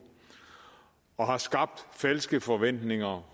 og har skabt falske forventninger